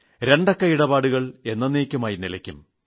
നിയമവിരുദ്ധ ഇടപാടുകൾ എേന്നയ്ക്കുമായി നിലയ്ക്കും